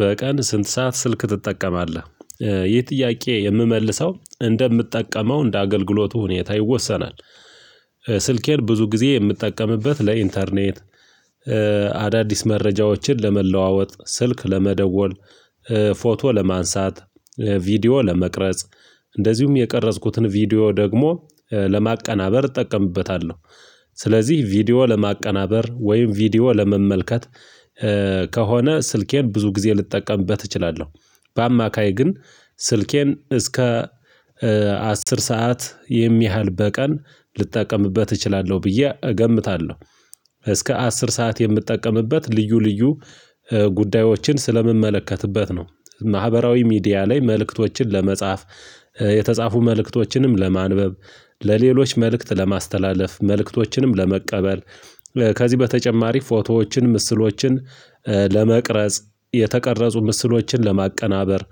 በቀን ስንት ሰዓት ስልክ ትጠቀማለህ? ይህ ጥያቄ የምመልሰው እንደምትጠቀመው እንደ አገልግሎቱ ሁኔታ ይወሰናል። ስልኬን ብዙ ጊዜ የምጠቀምበት ለኢንተርኔት። አዳዲስ መረጃዎችን ለመለዋወጥ ስልክ ለመደወል። ፎቶ ለማንሳት፣ ቪዲዮ ለመቅረጽ። እንደዚሁም የቀረጽኩትን ቪዲዮ ደግሞ ለማቀናበር እጠቀምበታለሁ። ስለዚህ ቪዲዮ ለማቀናበር ወይም ቪዲዮ ለመመልከት። ከሆነ ስልኬን ብዙ ጊዜ ልጠቀምበት እችላለሁ። በአማካይ ግን ስልኬን እስከ አስር ሰዓት የሚያህል በቀን ልጠቀምበት እችላለሁ ብዬ እገምታለሁ። እስከ አስር ሰዓት የምጠቀምበት ልዩ ልዩ ጉዳዮችን ስለምመለከትበት ነው። ማህበራዊ ሚዲያ ላይ መልእክቶችን ለመጻፍ። የተጻፉ መልእክቶችንም ለማንበብ። ለሌሎች መልእክት ለማስተላለፍ መልእክቶችንም ለመቀበል። ከዚህ በተጨማሪ ፎቶዎችን ምስሎችን። ለመቅረጽ የተቀረጹ ምስሎችን ለማቀናበር።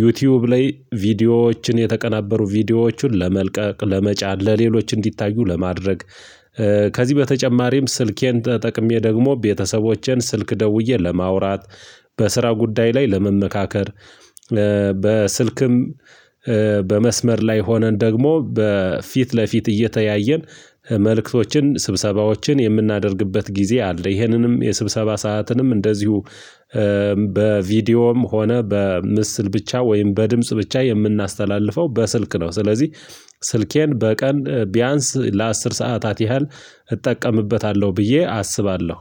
ዩቲዩብ ላይ ቪዲዮዎችን የተቀናበሩ ቪዲዮዎችን ለመልቀቅ ለመጫን ለሌሎች እንዲታዩ ለማድረግ። ከዚህ በተጨማሪም ስልኬን ተጠቅሜ ደግሞ ቤተሰቦቼን ስልክ ደውዬ ለማውራት። በስራ ጉዳይ ላይ ለመመካከር። በስልክም በመስመር ላይ ሆነን ደግሞ በፊት ለፊት እየተያየን መልእክቶችን ስብሰባዎችን የምናደርግበት ጊዜ አለ። ይሄንንም የስብሰባ ሰዓትንም እንደዚሁ በቪዲዮም ሆነ በምስል ብቻ ወይም በድምጽ ብቻ የምናስተላልፈው በስልክ ነው። ስለዚህ ስልኬን በቀን ቢያንስ ለአስር ሰዓታት ያህል እጠቀምበታለሁ ብዬ አስባለሁ።